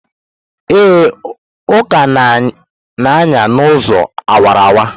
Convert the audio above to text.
Ee, Uka na-anya n'ụzọ awara awara.